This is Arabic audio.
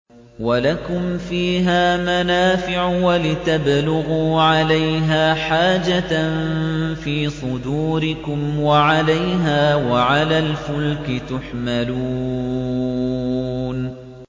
وَلَكُمْ فِيهَا مَنَافِعُ وَلِتَبْلُغُوا عَلَيْهَا حَاجَةً فِي صُدُورِكُمْ وَعَلَيْهَا وَعَلَى الْفُلْكِ تُحْمَلُونَ